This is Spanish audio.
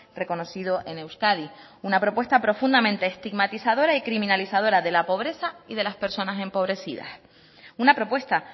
reconocido en euskadi una propuesta profundamente estigmatizadora y criminalizadora de la pobreza y de las personas empobrecidas una propuesta